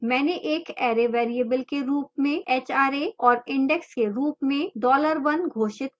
मैंने एक array variable के रूप में hra और index के रूप में dollar one घोषित किया है